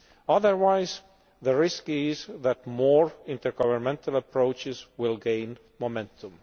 Otherwise the risk is that more intergovernmental approaches will gain momentum.